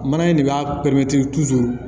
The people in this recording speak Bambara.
Mana in de b'a pɛrɛntiri